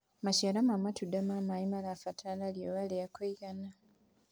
maciaro ma matunda ma maĩ marabatara riũa ria kũigana